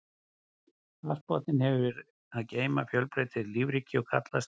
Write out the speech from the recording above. Hafsbotninn hefur að geyma fjölbreytilegt lífríki og kallast lífverurnar á botninum botndýr og botnþörungar.